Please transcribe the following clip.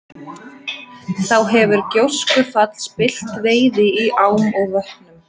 þá hefur gjóskufall spillt veiði í ám og vötnum